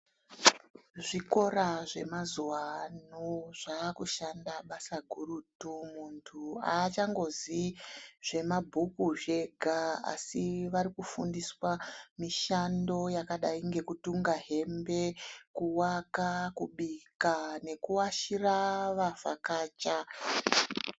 Zvikora zve mazuva ano zvaku shanda basa gurutu muntu achango ziii zvema bhuku zvega asi vari kufundiswa mishando yakadai ngeku tunga hembe kuwaka kubika neku wachira wa vhakacha.